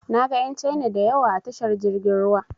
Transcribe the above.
Na ga ƴan Caina da yawa a tashar jirgin ruwa.